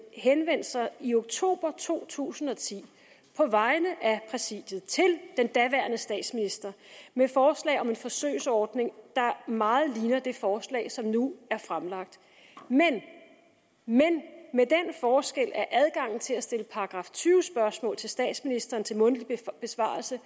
henvendte sig jo i oktober to tusind og ti på vegne af præsidiet til den daværende statsminister med forslag om en forsøgsordning der meget ligner det forslag som nu er fremlagt men men med den forskel at adgangen til at stille § tyve spørgsmål til statsministeren til mundtlig besvarelse